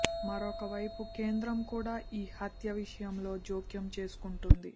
మరో వైపు కేంద్రం కూడా ఈ హత్య విషయంలో జోక్యం చేసుకుంటుంది